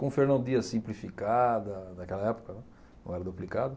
Com Fernão Dias simplificada naquela época, né, não era duplicada.